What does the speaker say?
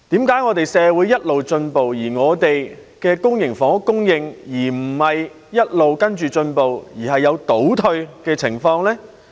為何社會一直進步，本港的公營房屋供應卻沒有同時進步，而是有倒退的情況呢？